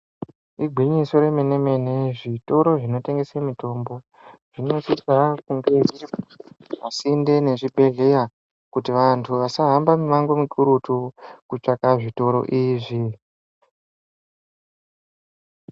Igwinyiso remene-mene zvitoro zvinotengesa mitombo zvinosisa kunge zviri pasinde nezvibhedhleya kuti vantu vasahambe mumango mukurutu kutsvake zvitoro izvi.